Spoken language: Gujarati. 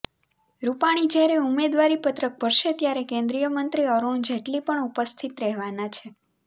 રૂપાણી જ્યારે ઉમેદવારી પત્રક ભરશે ત્યારે કેન્દ્રીય મંત્રી અરૂણ જેટલી પણ ઉપસ્થિત રહેવાના છે